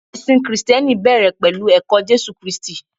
ẹsìn Kristẹni bẹrẹ pẹlu ẹkọ Jésù kristi